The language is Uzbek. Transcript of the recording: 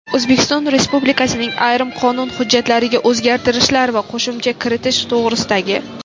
"O‘zbekiston Respublikasining ayrim qonun hujjatlariga o‘zgartishlar va qo‘shimcha kiritish to‘g‘risida"gi;.